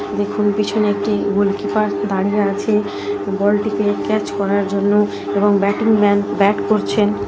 দেখুন পিছনে একটি গোল কিপার দাঁড়িয়ে আছে বলটিকে ক্যাচ করার জন্য এবং ব্যাটিং ম্যান ব্যাট করছেন।